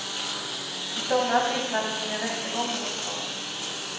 I somras vittnade hon i en rättegång mot honom.